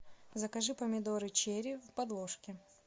закажи помидоры черри в подложке